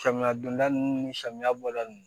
Samiya donda ninnu ni samiya bɔda ninnu